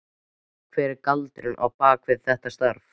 Hver er galdurinn á bak við þetta starf?